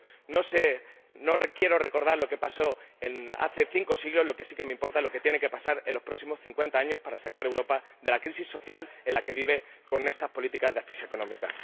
No sé, no quiero recordar lo que pasó hace cinco siglos lo que sí que me importa es lo que tiene que pasar en los próximos cincuenta años para sacar a Europa de la crisis social en la que vive con estas políticas de asfixia económica.